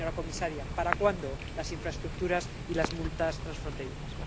Señora comisaria, ¿para cuándo las infraestructuras y las multas transfronterizas?